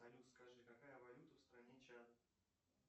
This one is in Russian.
салют скажи какая валюта в стране чад